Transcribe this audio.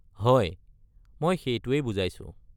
হয়, মই সেইটোৱেই বুজাইছোঁ।